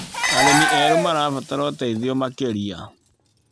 Arĩmi erũ marabatara ũteithio makĩria.